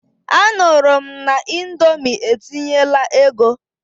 Anụrụ m na Indomi etinyela ego.